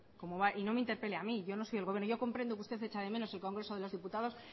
y no me interpele a mí yo no soy el gobierno yo comprendo que usted echa de menos el congreso de los diputados